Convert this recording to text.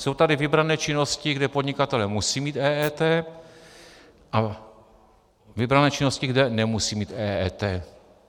Jsou tady vybrané činnosti, kde podnikatelé musí mít EET, a vybrané činnosti, kde nemusí mít EET.